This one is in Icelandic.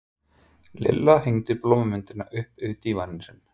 Lilla hengdi blómamyndina upp yfir dívaninn sinn.